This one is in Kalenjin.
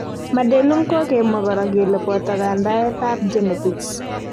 Madelung Ko gemwa kora kele poto kandaet ap genetics.